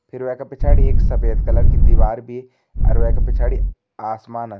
फिर वै का पिछाड़ी एक सफ़ेद कलर की दिवार भी अर वैका पिछाड़ी आसमान --